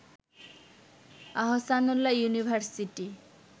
Ahsanullah university